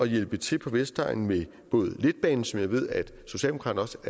hjælpe til på vestegnen med letbane som jeg ved at socialdemokraterne